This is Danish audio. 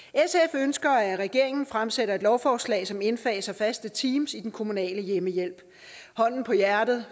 ønsker at regeringen fremsætter et lovforslag som indfaser faste teams i den kommunale hjemmehjælp hånden på hjertet